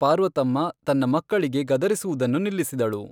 ಪಾರ್ವತಮ್ಮ ತನ್ನ ಮಕ್ಕಳಿಗೆ ಗದರಿಸುವುದನ್ನು ನಿಲ್ಲಿಸಿದಳು.